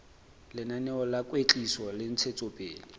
lenaneo la kwetliso le ntshetsopele